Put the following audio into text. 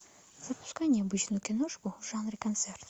запускай необычную киношку в жанре концерт